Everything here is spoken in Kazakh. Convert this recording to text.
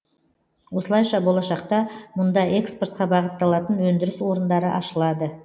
осылайша болашақта мұнда экспортқа бағытталатын өндіріс орындары ашылады